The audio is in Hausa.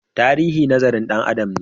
Tarihi nazarin Dan Adam ne